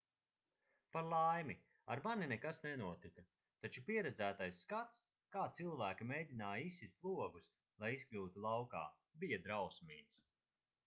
par laimi ar mani nekas nenotika taču pieredzētais skats kā cilvēki mēģināja izsist logus lai izkļūtu laukā bija drausmīgs